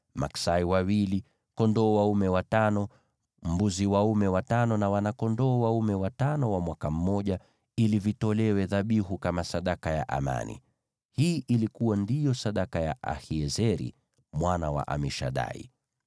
maksai wawili, kondoo dume watano, mbuzi dume watano na wana-kondoo dume watano wa mwaka mmoja, ili vitolewe dhabihu kama sadaka ya amani. Hii ndiyo ilikuwa sadaka ya Ahiezeri mwana wa Amishadai.